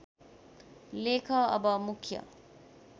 लेख अब मुख्य